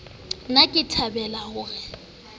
ne ke thabile ho re